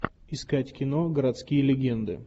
искать кино городские легенды